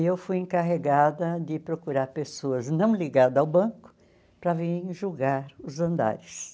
e eu fui encarregada de procurar pessoas não ligadas ao banco para vir julgar os andares.